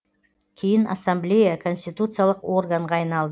кейін ассамблея конституциялық органға айналды